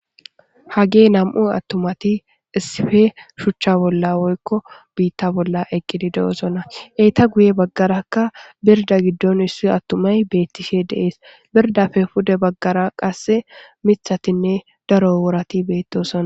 Hagee nam7u attumati issife shuchcha bolla woykko biitta bolla eqqidi de7osona eeta guye baggarakka birda giddon issu attumay beettishe deees birdafe pude baggara qasse mithatinne daro worati beettosona.